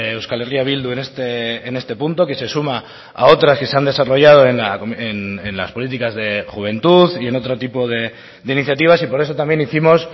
euskal herria bildu en este punto que se suma a otras que se han desarrollado en las políticas de juventud y en otro tipo de iniciativas y por eso también hicimos